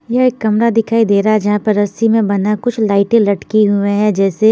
ये गमला दिखाई दे रहा है जहा पर रस्सी में बना कुछ लाइट लटके हुए है जेसे--